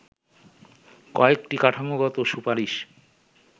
কয়েকটি কাঠামোগত সুপারিশ